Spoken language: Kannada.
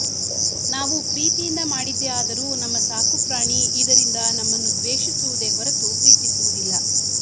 ನಾವು ಪ್ರೀತಿಯಿಂದ ಮಾಡಿದ್ದೇ ಆದರೂ ನಮ್ಮ ಸಾಕು ಪ್ರಾಣಿ ಇದರಿಂದ ನಮ್ಮನ್ನು ದ್ವೇಷಿಸುವುದೇ ಹೊರತು ಪ್ರೀತಿಸುವುದಿಲ್ಲ